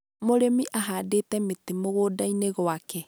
mũrĩmi ahandite mĩtĩ mũgũnda-inĩ gwake